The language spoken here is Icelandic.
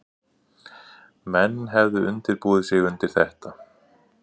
Menn hefðu undirbúið sig undir þetta